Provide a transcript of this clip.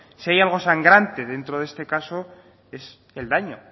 si hay algo sangrante dentro de este caso es el daño